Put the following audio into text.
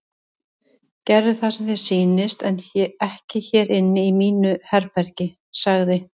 Gerðu það sem þér sýnist en ekki hér inni í mínu herbergi sagði